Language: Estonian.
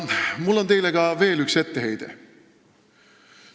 Mul on teile veel üks etteheide.